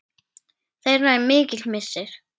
Þeirra er mikill missir.